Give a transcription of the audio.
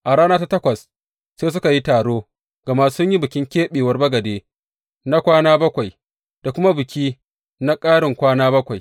A rana ta takwas sai suka yi taro, gama sun yi bikin keɓewar bagade na kwana bakwai da kuma biki na ƙarin kwana bakwai.